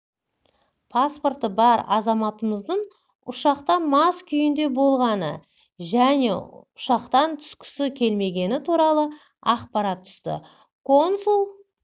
паспорты бар азаматымыздың ұшақта мас күйінде болғаны және ұшақтар түскісі келмегені туралы ақпарат түсті консул